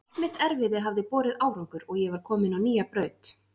Allt mitt erfiði hafði borið árangur og ég var komin á nýja braut.